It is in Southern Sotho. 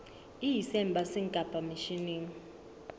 e ise embasing kapa misheneng